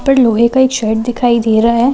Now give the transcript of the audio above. उपर लोहे का एक शेड दिखाई दे रहा है।